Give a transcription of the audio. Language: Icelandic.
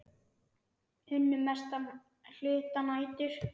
Unnu mestan hluta nætur.